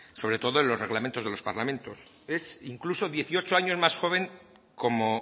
sobre todo en los reglamentos de los parlamentos es incluso dieciocho años más joven como